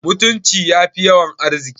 Mutunci yafi yawan arziki